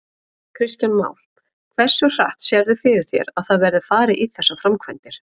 Kristján Már: Hversu hratt sérðu fyrir þér að það verði farið í þessar framkvæmdir?